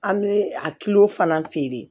An bɛ a fana feere